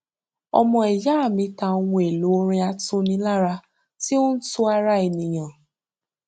ọmọ ìya mi ta ohun èlò ọrin atunilára tí ó ń tu ara ènìyàn